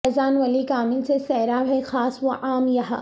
فیضان ولی کامل سے سیراب ہیں خاص وعام یہاں